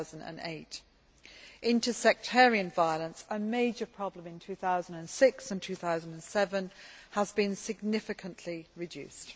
2008. Inter sectarian violence, a major problem in 2006 and 2007, has been significantly reduced.